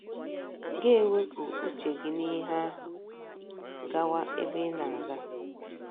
Gị ewepụ uche gị n’ihe ahụ, gawa ebe ị na - aga.